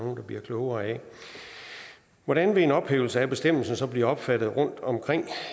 bliver klogere af hvordan vil en ophævelse af bestemmelsen så blive opfattet rundtomkring